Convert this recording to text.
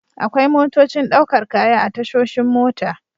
Akwai motocin ɗaukar kaya a tashoshin mota.